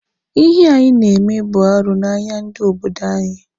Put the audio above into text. Ihe a ị na-eme bụ arụ n'anya ndị obodo anyị.